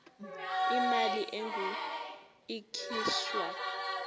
imali engur ikhishwa